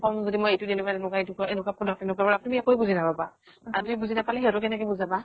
কওঁ যদি মই এইতো দি এনেকুৱা এনেকুৱা এইতোকৰ এনেকুৱা product তেনেকুৱা product তুমি একোয়ে বুজি নাপাবা। আৰু তুমি বুজি নাপালা সিহতক কেনেকে বুজাবা?